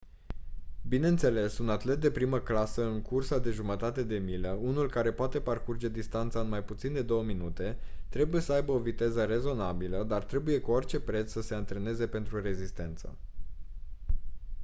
bineînțeles un atlet de primă clasă în cursa de jumătate de milă unul care poate parcurge distanța în mai puțin de două minute trebuie să aibă o viteză rezonabilă dar trebuie cu orice preț să se antreneze pentru rezistență